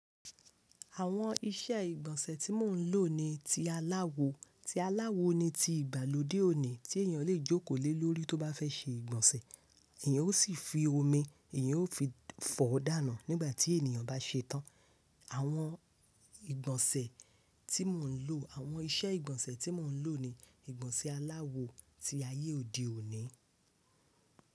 Àwọn iṣẹ́ ìgbọ̀nsẹ̀ tí mò ń lò ni ti aláwo, ti aláwo ni ti ìgbàlódé òní tí èèyàn lè jókòó lé lórí tó bá fẹ́ ṣe ìgbọ̀nsẹ̀. Èèyàn ó sì fi omi, èèyàn ó fi fọ̀ọ́ dànù nígbà tí ènìyàn bá ṣe tán. Àwọn ìgbọ̀nsẹ̀ tí mò ń lò, àwọn iṣẹ́ ìgbọ̀nsẹ̀ tí mò ń lò ni ìgbọ̀nsẹ̀ aláwo ti ayé òde òní.